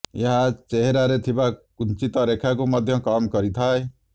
ଏହା ଚେହେରାରେ ଥିବା କୁଞ୍ଚିତ ରେଖାକୁ ମଧ୍ୟ କମ କରିଥାଏ